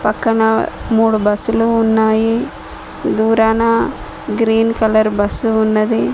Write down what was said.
పక్కన మూడు బస్సులు ఉన్నాయి దూరాన గ్రీన్ కలర్ బస్సు ఉన్నది.